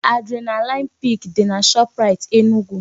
Adrenaline peak dị na Shoprite Enugu